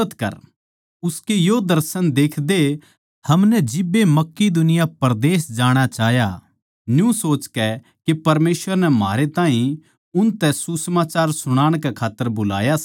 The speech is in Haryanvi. उसकै यो दर्शन देखदए हमनै जिब्बे मकिदुनिया परदेस जाणा चाह्या न्यू सोचकै के परमेसवर नै म्हारै ताहीं उनतै सुसमाचार सुणाण कै खात्तर बुलाया सै